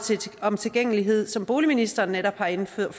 om tilgængelighed som boligministeren netop har indføjet